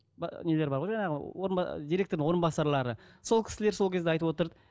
нелер бар ғой жаңағы директорлардың орынбасарлары сол кісілер сол кезде айтып отырды